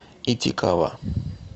итикава